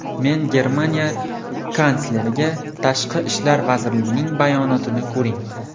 Men Germaniya kansleriga ‘Tashqi ishlar vazirligining bayonotini ko‘ring.